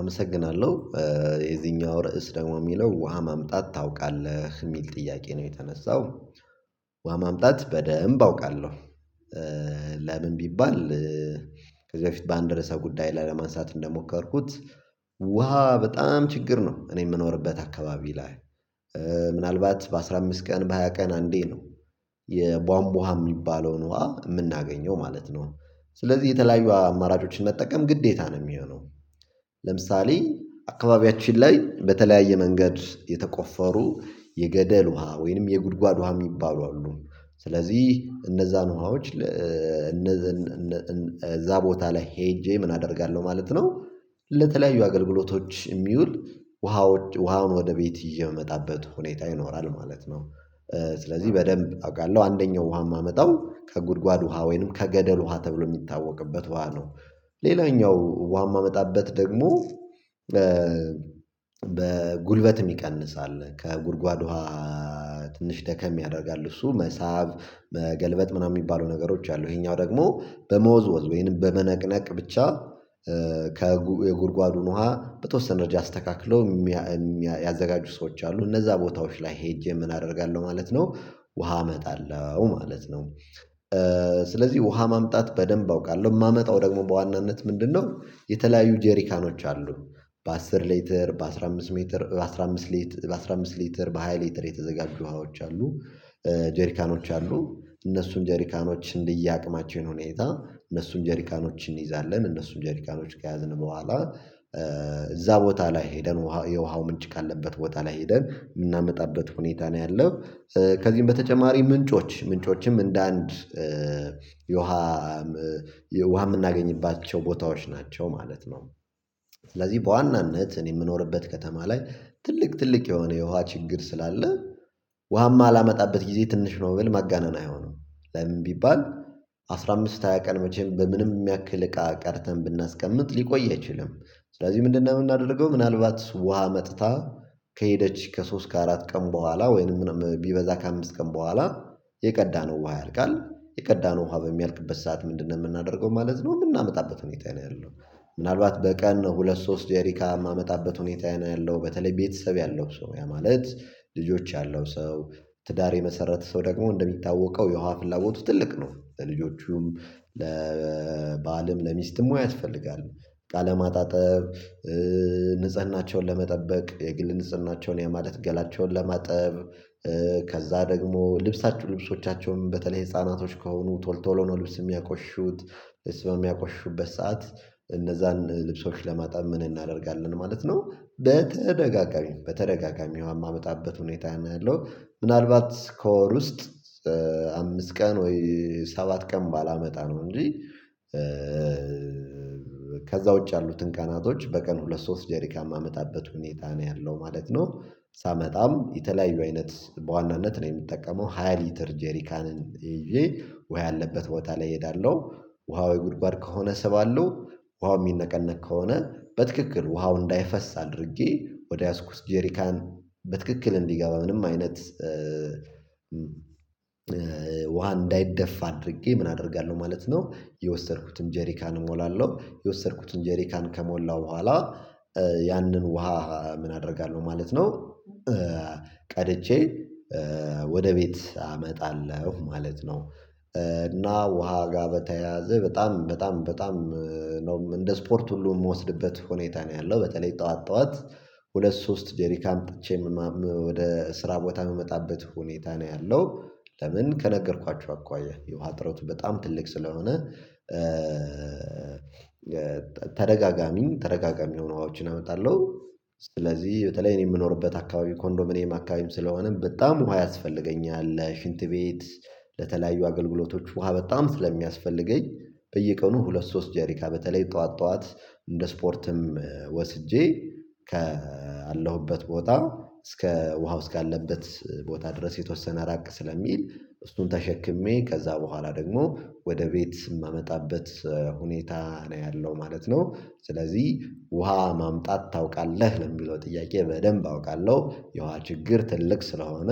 አመሰግናለሁ የዚህኛው ርዕስ ደግሞ የሚለው ውሃ ማምጠት ታውቃለህ? የሚል ጥያቄ ነው የተነሳው ውሃ ማምጠት በደንብ አውቃለሁ። ለምን ቢባል ከዚህ በፊት በአንድ ድረስ ጉዳይ ላለማንሳት እንደሞከርኩት፤ ውሃ በጣም ችግር ነው እኔ የምኖርበት አካባቢ ላይ። ምናልባት በአሥራ አምስት ቀን በሃያ ቀን አንዴ ነው የቧንቧሃ የሚባለውን ውሃ የምናገኘው ማለት ነው። ስለዚህ የተለያዩ አማራጮችን መጠቀም ግዴታ ነው የሚሆነው። ለምሳሌ አካባቢያችን ላይ በተለያየ መንገድ የተቆፈሩ፤ የገደል ውሃ፤ ወይንም የጉድጓድ ውሃ የሚባሉ አሉ። ስለዚህ እነዛን ውሃዎች እነዚን እዛ ቦታ ላይ ሄጄ ምን አደርጋለሁ ማለት ነው? ለተለያዩ አገልግሎቶች የሚውል ውሃውን ወደ ቤት ይዤ የመጣበት ሁኔታ ይኖራል ማለት ነው። ስለዚህ በደንብ አውቃለሁ አንደኛው ውሃ የማመጣው ከጉድጓድ ውሃ ወይንም ከገደል ውሃ ተብሎ የሚታወቅበት ውሃ ነው። ሌላኛው ውሃ የማመጣበት ደግሞ፤ ጉልበት የሚቀንስ አለ፤ ከጉድጓድ ውሃ ትንሽ ደከም ያደርጋል እሱ መሳብ፤ መገልበጥ ምናምን የሚባሉ ነገሮች አሉ። ይሄኛው ደግሞ በመወዝወዝ ወይንም በመነቅነቅ ብቻ፤ የጉድጓዱን ውሃ በተወሰነ ደረጃ አስተካክለው፤ የሚያዘጋጁ ሰዎች አሉ። እነዛ ቦታዎች ላይ ሄጄ ምን አደርጋለሁ ማለት ነው ውሃ እመጣለሁ ማለት ነው። ውሃ ማምጣት በደንብ አውቃለሁ፤ የማመጣው ደግሞ በዋናነት ምንድነው የተለያዩ ጄሪካኖች አሉ በአስር ሌትር፤ በአስራ አምስት ሜትር፤ በአስራ አምስት ሊትር፤ በአስራ አምስት ሊትር፤ በሃያ ሊትር፤ የተዘጋጁ ውሃዎች አሉ። ጀሪካኖች አሉ እነሱን ጀሪካኖች እንዲያቅማቸው ሁኔታ እነሱን ጀሪካኖች እንይዛለን። እነሱን ጀሪካኖች ከያዝን በኋላ እዛ ቦታ ላይ ሄደን የውሃው ምንጭ ካለበት ቦታ ላይ ሄደን የምናመጣበት ሁኔታ ነው ያለው። ከዚህም በተጨማሪ ምንጮች፤ ምንጮችም እንደ አንድ የውሃ የውሃ የምናገኝባቸው ቦታዎች ናቸው ማለት ነው። ስለዚህ በዋናነት እኔ የምኖርበት ከተማ ላይ ትልቅ ትልቅ የሆነ የውሃ ችግር ስላለ፤ ውሃማ የማላመጣበት ጊዜ ትንሽ ነው ብል ማጋነን አይሆንም። ለምን ቢባል አስራ አምስት ሃያ ቀን መቼም በምንም ያክል እቃ ቀደተን ብናስቀምጥ ሊቆይ አይችልም። ስለዚህ ምንድነው የምናደርገው ምናልባት ውሃ መጥታ ከሄደች ከሶስት ከአራት ቀን በኋላ፤ ወይንም ምንም ቢበዛ ከአምስት ቀን በኋላ፤ የቀዳነው ውሃ ያልቃል የቀዳነው ውሃበሚያልቅበት ሰዓት ምንድነው የምናደርገው ማለት ነው የምናመጣበት ሁኔታ ነው ያለው። ምናልባት በቀን ሁለት ሶስት ጄሪካን የማመጣበት ሁኔታ ነው ያለው በተለይ ቤተሰብ ያለው ሰው፤ ያ ማለት ልጆች ያለው ሰው ትዳር የመሰረተ ሰው ደግሞ እንደሚታወቀው የውሃ ፍላጎቱ ትልቅ ነው። ለልጆቹም ለባልም ለሚስትም ውሃ ያስፈልጋል። እቃ ለማጣጠብ ንጽህናቸውን ለመጠበቅ፤ የግል ንጽህናቸውን የማለት ገላቸውን ለማጠብ ከዛ ደግሞ ልብሳችሁ ልብሶቻቸውን፤ በተለይ ህፃናቶች ከሆኑ ቶል ቶሎ ነው ልብስ የሚያቆሹት። ልብስ በሚያቆሽሹት ሰዓት እነዛን ልብሶች ለማጣብ ምን እናደርጋለን ማለት ነው በተደጋጋሚ በተደጋጋሚ ውሃ የማመጣበት ሁኔታ ነው ያለው። ምናልባት ከወር ውስጥ አምስት ቀን ወይ ሰባት ቀን ባላመጣ ነው። እንጂ ከዛ ውጪ ያሉትን ካናቶች በቀን ሁለት ሶስት ጄሪካን የማመጣበት ሁኔታ ነው ያለው ማለት ነው። ሳመጣም የተለያዩ አይነት በዋናነት ነው የምጠቀመው ሃያ ሊትር ጄሪካንን ይዤ ውሃ ያለበት ቦታ ላይ እሄዳለሁ። ውሃ ወይ ጉድጓድ ከሆነ ስባለው ውሃው የሚነቀነቅ ከሆነ በትክክል ውሃው እንዳይፈስ አድርጌ፤ ወደ ያዝኩት ጄሪካን በትክክል እንዲገባ፤ ምንም አይነት ውሃ እንዳይደፋ አድርጌ ምን አደርጋለሁ ማለት ነው የወሰድኩትን ጀሪካን እሞላለሁ። የወሰድኩትን ጀሪካን ከሞላው በኋላ ያንን ውሃ ምን አደርጋለሁ ማለት ነው ቀድጄ ወደ ቤት አመጣለሁ ማለት ነው፤ እና ውሃ ጋር በተያያዘ በጣም በጣም በጣም ነው እንደ ስፖርት ሁሉ የምወስድበት ሁኔታ ነው ያለው። በተለይ ጠዋት ጠዋት ሁለት ሶስት ጄረካን አምጥቼ ወደ ስራ ቦታ የምመጣበት ሁኔታ ነው ያለው። ለምን ከነገርኳችሁ አኳያ፤ የውሃ ጥረቱ በጣም ትልቅ ስለሆነ። ተደጋግሞ ተደጋጋሚ ተደጋጋሚ የሆኑ ሀዋዎችን አመጣለሁ። በተለይ እኔ የምኖርበት አካባቢ ኮንዶሚኒየም አካባቢም ስለሆነም በጣም ውሃ ያስፈልገኛል። ሽንት ቤት ለተለያዩ አገልግሎቶች ውሃ በጣም ስለሚያስፈልገኝ በየቀኑ ሁለት ሶስት ጄሪካን በተለይ ጠዋት ጠዋት እንደ ስፖርትም ወስጄ ካለሁበት ቦታ እስከ ውሃው እስካለበት ቦታ ድረስ የተወሰነ ራቅ ስለሚል፤ እሱን ተሸክሜ ከዛ በኋላ ደግሞ ወደ ቤት ስም የማመጣበት፤ ሁኔታ ነው ያለው ማለት ነው፤ ስለዚህ ውሃ ማምጣት ታውቃለህ? ለሚለው ጥያቄ በደንብ አውቃለሁ። የውሃ ችግር ትልቅ ስለሆነ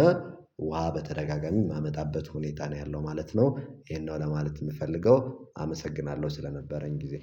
ውሃ በተደጋጋሚ የማመጣበት ሁኔታ ነው ያለው ማለት ነው ይሄን ነው። ለማለት የምፈልገው አመሰግናለሁ ስለነበረኝ ጊዜ።